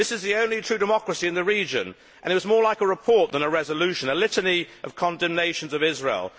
This is the only true democracy in the region and it was more like a report than a resolution a litany of condemnations of Israel.